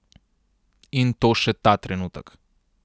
In to še ta trenutek.